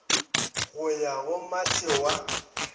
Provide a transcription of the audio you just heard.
go ya go matšhe wa